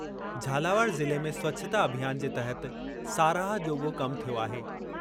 झालावाड़ ज़िले में स्वछता अभियान जे तहत साराह जोॻो कम थियो आहे।